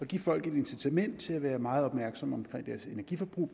give folk et incitament til at være meget opmærksomme på deres energiforbrug